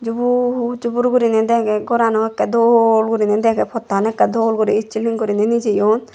jubur jubur guriney degey gorano ekke dol guriney dege pottan ekkere dol itt swilling guriney nijeyon.